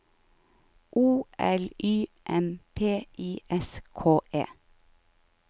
O L Y M P I S K E